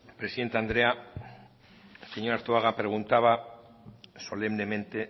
presidente andrea señor arzuaga preguntaba solemnemente